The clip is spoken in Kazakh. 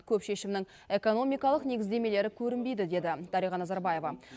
көп шешімнің экономикалық негіздемелері көрінбейді деді дариға назарбаева